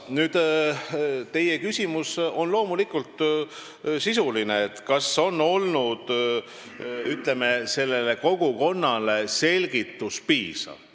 Teie küsimus on loomulikult sisuline, kas selgitused kogukonnale on olnud piisavad.